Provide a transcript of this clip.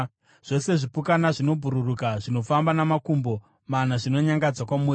“ ‘Zvose zvipukanana zvinobhururuka, zvinofamba namakumbo mana zvinonyangadza kwamuri.